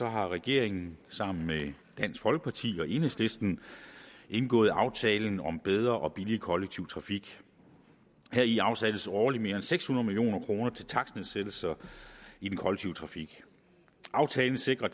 har regeringen sammen med dansk folkeparti og enhedslisten indgået aftalen om bedre og billigere kollektiv trafik heri afsættes årligt mere end seks hundrede million kroner til takstnedsættelser i den kollektive trafik aftalen sikrer